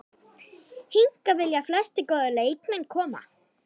Hingað vilja flestir góðir leikmenn koma.